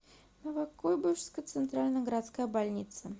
новокуйбышевская центральная городская больница